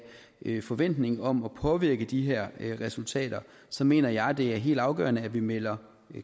en forventning om at påvirke de her resultater så mener jeg det er helt afgørende at vi melder